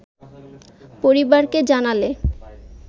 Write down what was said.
পরিবারকে জানালে